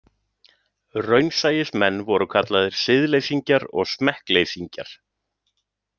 Raunsæismenn voru kallaðir siðleysingjar og smekkleysingjar.